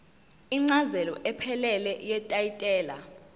incazelo ephelele yetayitela